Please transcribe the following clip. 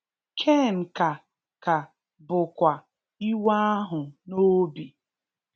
Cain ka ka bụkwa iwe ahụ n’obi.